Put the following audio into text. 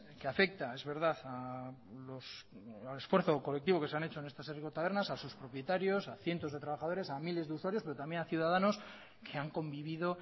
que afecta es verdad al esfuerzo colectivo que se han hecho en estas herriko tabernas a sus propietarios a cientos de trabajadores a miles de usuarios pero también a ciudadanos que han convivido